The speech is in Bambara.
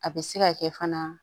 A bɛ se ka kɛ fana